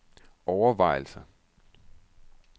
overvejelser